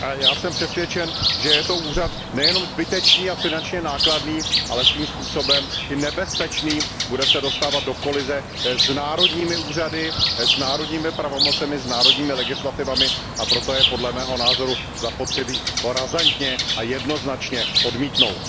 A já jsem přesvědčen, že je to úřad nejenom zbytečný a finančně nákladný, ale svým způsobem i nebezpečný, bude se dostávat do kolize s národními úřady, s národními pravomocemi, s národními legislativami, a proto je podle mého názoru zapotřebí ho razantně a jednoznačně odmítnout.